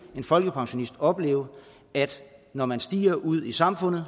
en folkepensionist nu opleve at når man stiger ude i samfundet